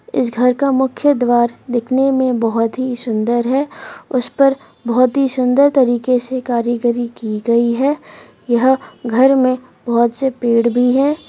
इस घर का मुख्य द्वार दिखने में बहुत ही सुंदर है उस पर बहुत ही सुंदर तरीके से कारीगरी की गई है यहां घर में बहुत से पेड़ भी हैं।